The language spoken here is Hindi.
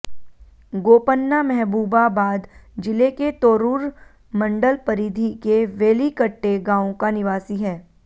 गोपन्ना महबूबाबाद जिले के तोर्रुर मंडल परिधि के वेलिकट्टे गांव का निवासी है